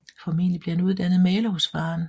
Formentlig blev han uddannet maler hos faderen